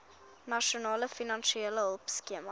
nasionale finansiële hulpskema